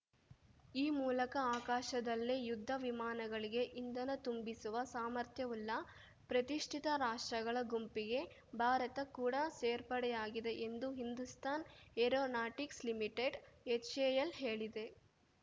ಈ ಮೂಲಕ ಆಕಾಶದಲ್ಲೇ ಯುದ್ಧ ವಿಮಾನಗಳಿಗೆ ಇಂಧನ ತುಂಬಿಸುವ ಸಾಮರ್ಥ್ಯವುಳ್ಳ ಪ್ರತಿಷ್ಠಿತ ರಾಷ್ಟ್ರಗಳ ಗುಂಪಿಗೆ ಭಾರತ ಕೂಡ ಸೇರ್ಪಡೆಯಾಗಿದೆ ಎಂದು ಹಿಂದೂಸ್ತಾನ್‌ ಏರೋನಾಟಿಕ್ಸ್‌ ಲಿಮಿಟೆಡ್‌ಎಚ್‌ಎಎಲ್‌ ಹೇಳಿದೆ